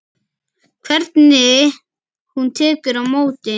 Hvernig hún tekur á móti